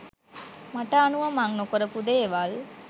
මට අනුව මං නොකරපු දේවල්.